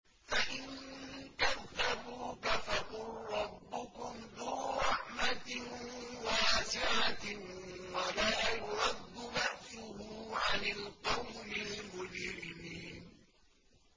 فَإِن كَذَّبُوكَ فَقُل رَّبُّكُمْ ذُو رَحْمَةٍ وَاسِعَةٍ وَلَا يُرَدُّ بَأْسُهُ عَنِ الْقَوْمِ الْمُجْرِمِينَ